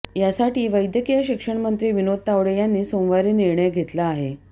यासाठी वैद्यकीय शिक्षणमंत्री विनोद तावडे यांनी सोमवारी निर्णय घेतला आहे